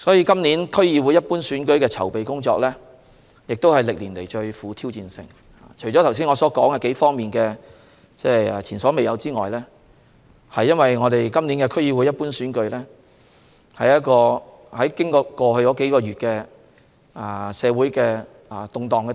今次區議會一般選舉的籌備工作是歷年來最富挑戰性的，除了我剛才提到在數方面的前所未有情況外，今次區議會一般選舉經歷了過去數月的社會動盪。